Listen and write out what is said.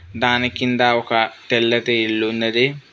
దాని కింద ఒక తెల్లటి ఇల్లు ఉన్నాది.